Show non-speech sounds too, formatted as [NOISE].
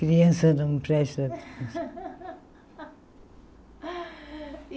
Criança não presta. [LAUGHS]